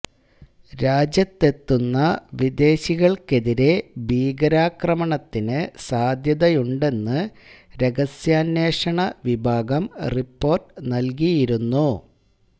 രാജ്യത്തെത്തുന്ന വിദേശികള്ക്കെതിരേ ഭീകരാക്രമണത്തിന് സാധ്യതയുണ്ടെന്ന് രഹസ്യാന്വേഷണ വിഭാഗം റിപ്പോര്ട്ട് നല്കിയിരുന്നു